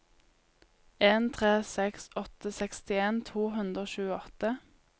en tre seks åtte sekstien to hundre og tjueåtte